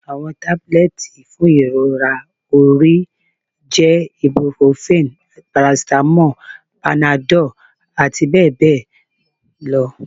Awọn tabulẹti fun irora ori jẹ ibuprofen, paracetamol, Panadol ati bẹ́ẹ̀ bẹ́ẹ̀ lọ